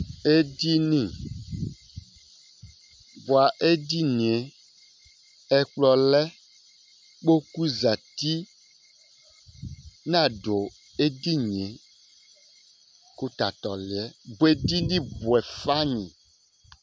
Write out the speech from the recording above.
Edini bʋa edini ye ɛkplɔ lɛ ikpoku zɛti nadu edini kʋ tatu ɔli yɛ bʋa edini bʋɛ fayi